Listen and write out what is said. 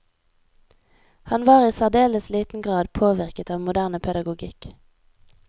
Han var i særdeles liten grad påvirket av moderne pedagogikk.